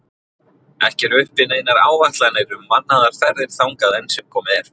Ekki eru uppi neinar áætlanir um mannaðar ferðir þangað enn sem komið er.